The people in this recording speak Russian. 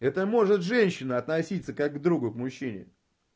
это может женщина относиться как другу к мужчине